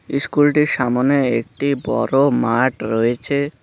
ইস্কুলটির সামনে একটি বড় মাঠ রয়েছে।